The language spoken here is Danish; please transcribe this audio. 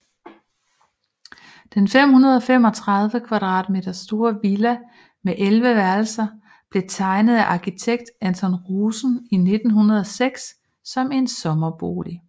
Den 535 kvadratmeter store villa med 11 værelser blev tegnet af arkitekt Anton Rosen i 1906 som en sommerbolig